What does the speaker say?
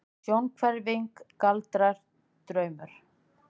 Sjónhverfing, galdrar, draumur?